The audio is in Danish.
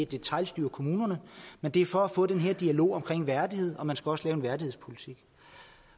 detailstyre kommunerne men det er for at få den her dialog om værdighed og man skal også lave en værdighedspolitik